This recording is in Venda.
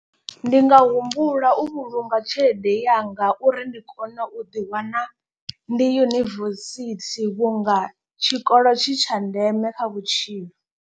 Ndi nga humbula u vhulunga tshelede yanga uri ndi kone u ḓiwana ndi yunivesithi vhunga tshikolo tshi tsha ndeme kha vhutshilo.